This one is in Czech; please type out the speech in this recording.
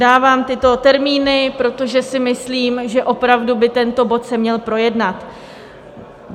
Dávám tyto termíny, protože si myslím, že opravdu by tento bod se měl projednat.